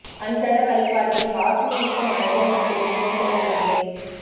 அன்றாட வழிபாட்டில் வாசனை மிக்க மலர்கள் மட்டுமே இடம் பெற வேண்டும்